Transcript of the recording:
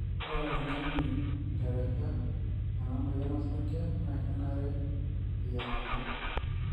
ore oltungani oteresha ena moyian osarge na kenare eyiang'ata